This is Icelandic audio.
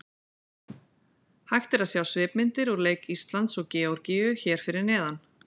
Hægt er að sjá svipmyndir úr leik Íslands og Georgíu hér að neðan.